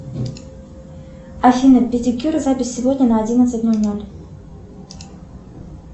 афина педикюр запись сегодня на одиннадцать ноль ноль